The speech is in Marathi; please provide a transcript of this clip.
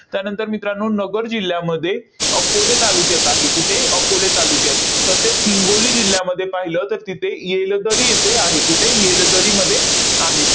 त्यानंतर मित्रांनो, नगर जिल्ह्यामध्ये अकोले तालुक्यात आहे. कुठे? अकोले तालुक्यात. तसेच हिंगोली जिल्ह्यामध्ये पाहिलं, तर तिथे येलदरी इथे आहे. कुठे? येलदरीमध्ये आहे.